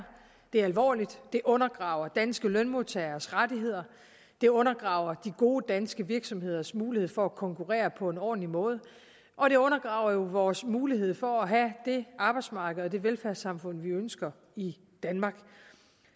det er alvorligt det undergraver danske lønmodtageres rettigheder det undergraver de gode danske virksomheders mulighed for at konkurrere på en ordentlig måde og det undergraver jo vores mulighed for at have det arbejdsmarked og det velfærdssamfund vi ønsker i danmark